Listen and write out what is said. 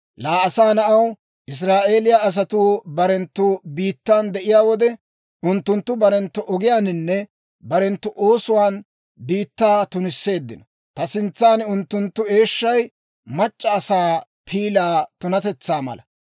«Laa asaa na'aw, Israa'eeliyaa asatuu barenttu biittan de'iyaa wode, unttunttu barenttu ogiyaaninne barenttu oosuwaan biittaa tunisseeddino; ta sintsan unttunttu eeshshay mac'c'a asaa piilaa tunatetsaa mala.